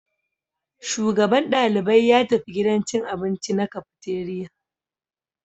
Shugaban dalibai ya tafi gidan cin abinci na cafeteria